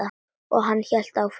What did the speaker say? Og hann hélt áfram.